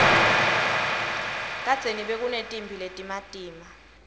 kadzeni bekunetimphi letimatima